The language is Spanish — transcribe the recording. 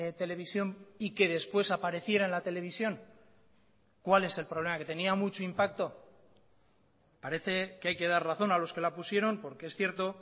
televisión y que después apareciera en la televisión cuál es el problema que tenía mucho impacto parece que hay que dar razón a los que la pusieron porque es cierto